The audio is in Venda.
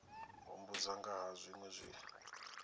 humbudza nga ha zwinwe zwe